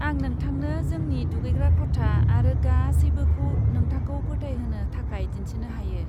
आं नोंथांनो जोंनि दुगैग्रा खथा आरो गासैबोखौ नोंथांखौ फोथायहोनो थाखाय दिन्थिनो हायो।